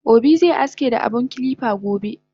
Obi ze aski da abun kilipa gobe